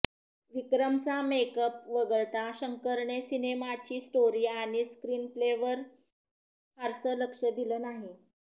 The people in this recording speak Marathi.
विक्रमचा मेक अप वगळता शंकरने सिनेमाची स्टोरी आणि स्क्रिनप्लेवर फारसं लक्ष दिलं नाही